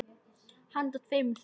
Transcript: Handa tveimur til þremur